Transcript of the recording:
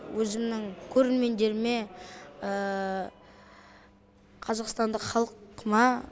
өзімнің көрермендеріме қазақстандық халқыма